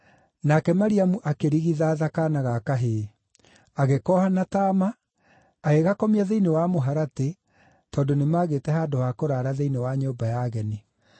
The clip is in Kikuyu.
Nake Mariamu akĩrigithatha kaana ga kahĩĩ. Agĩkooha na taama, agĩgakomia thĩinĩ wa mũharatĩ tondũ nĩmagĩte handũ ha kũraara thĩinĩ wa nyũmba ya ageni.